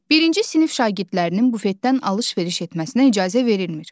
Birinci sinif şagirdlərinin bufetdən alış-veriş etməsinə icazə verilmir.